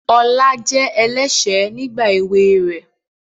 Ọlá jẹ́ ẹlẹ́ṣẹ̀ nígbà èwe rẹ̀